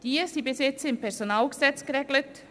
Diese waren bisher im PG geregelt.